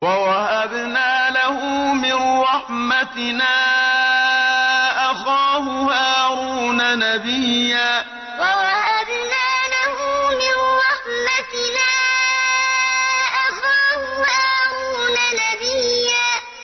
وَوَهَبْنَا لَهُ مِن رَّحْمَتِنَا أَخَاهُ هَارُونَ نَبِيًّا وَوَهَبْنَا لَهُ مِن رَّحْمَتِنَا أَخَاهُ هَارُونَ نَبِيًّا